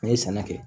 N'i ye sɛnɛ kɛ